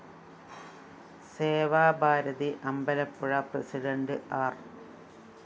Seva Bharati Ambalappuzha president ആര്‍